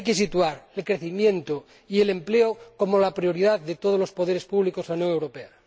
Hay que situar el crecimiento y el empleo como la prioridad de todos los poderes públicos en la Unión Europea.